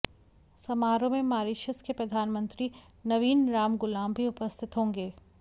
समारोह में मारीशस के प्रधानमंत्री नवीन रामगुलाम भी उपस्थित होंगे